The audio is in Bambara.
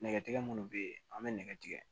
Nɛgɛtigɛbugu bɛ ye an bɛ nɛgɛ tigɛ